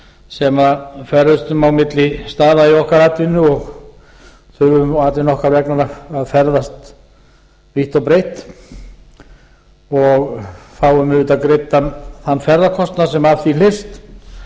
sem ferðumst á milli staða í okkar atvinnu og þurfum atvinnu okkar vegna að ferðast vítt og breitt og fáum auðvitað greiddan þann ferðakostnað sem af því